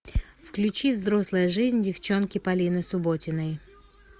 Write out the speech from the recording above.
включи взрослая жизнь девчонки полины субботиной